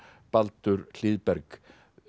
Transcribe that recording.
Baldur Hlíðberg